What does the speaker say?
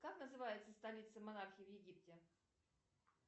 как называется столица монархии в египте